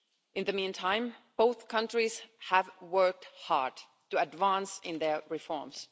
In the meantime, both countries have worked hard to advance in their reforms.